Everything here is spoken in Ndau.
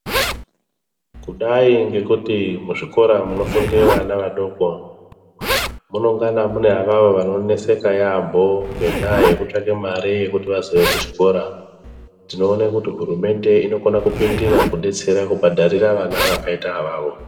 Kudai ngekuti muzvikora munofunde vana vadoko munongana mune avavo vanoneseka yaambo. Ngendaa yekutsvake mare yekuti vazouya kuchikora. Tinoone kuti hurumende inokona kupindira kubetsera kubhadharira vana vakaita avavo.